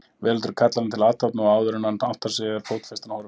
Veröldin kallar hann til athafna og áðuren hann áttar sig er fótfestan horfin.